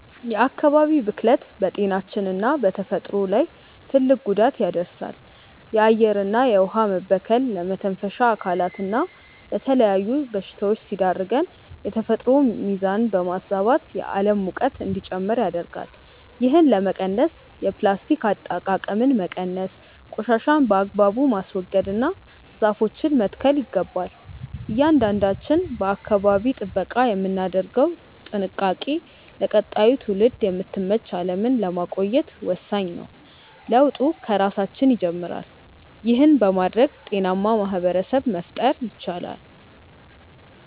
የአካባቢ ብክለት በጤናችንና በተፈጥሮ ላይ ትልቅ ጉዳት ያደርሳል። የአየርና የውኃ መበከል ለመተንፈሻ አካላትና ለተለያዩ በሽታዎች ሲዳርገን፣ የተፈጥሮን ሚዛን በማዛባትም የዓለም ሙቀት እንዲጨምር ያደርጋል። ይህንን ለመቀነስ የፕላስቲክ አጠቃቀምን መቀነስ፣ ቆሻሻን በአግባቡ ማስወገድና ዛፎችን መትከል ይገባል። እያንዳንዳችን ለአካባቢ ጥበቃ የምናደርገው ጥንቃቄ ለቀጣዩ ትውልድ የምትመች ዓለምን ለማቆየት ወሳኝ ነው። ለውጡ ከራሳችን ይጀምራል። ይህን በማድረግ ጤናማ ማኅበረሰብ መፍጠር ይቻላል።